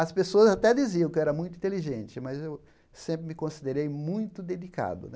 As pessoas até diziam que eu era muito inteligente, mas eu sempre me considerei muito dedicado. Né